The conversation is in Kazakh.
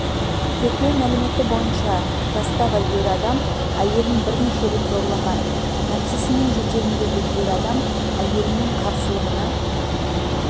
тергеу мәліметі бойынша жастағы ер адам әйелін бірнеше рет зорлаған нәпсісінің жетегіндегі ер адам әйелінің қарсылығына